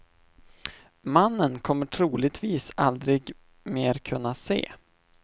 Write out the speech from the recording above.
Mannen kommer troligtvis aldrig mer att kunna se.